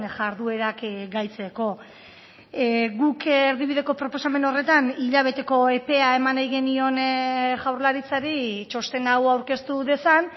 jarduerak gaitzeko guk erdibideko proposamen horretan hilabeteko epea eman nahi genion jaurlaritzari txosten hau aurkeztu dezan